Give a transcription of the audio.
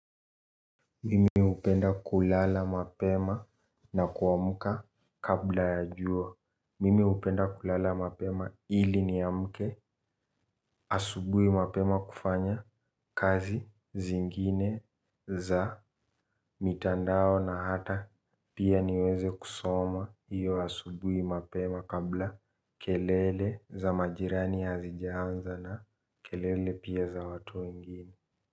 Mimi upenda kulala mapema na kuamuka kabla ya jua. Mimi upenda kulala mapema hili niamke asubui mapema kufanya kazi zingine za mitandao na hata pia niweze kusoma hiyo asubui mapema kabla kelele za majirani hazijaanza na kelele pia za watu wengini Muzika.